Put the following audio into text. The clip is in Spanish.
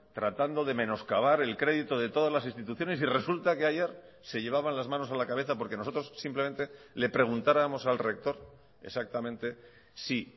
tratando de menos cavar el crédito de todas las instituciones y resulta que ayer se llevaban las manos a la cabeza porque nosotros simplemente le preguntáramos al rector exactamente si